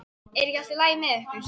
Er ekki allt í lagi með ykkur?